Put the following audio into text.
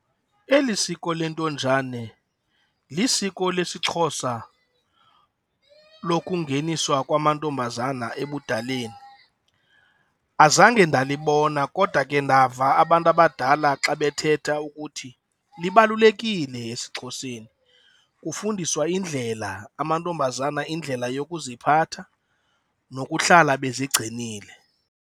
Eli siko lentonjane lisiko lesiXhosa lokungeniswa kwamantombazana ebudaleni. Azange ndalibona kodwa ke ndava abantu abadala xa bethetha ukuthi libalulekile esiXhoseni, kufundiswa indlela amantombazana, indlela yokuziphatha nokuhlala bezigcinile.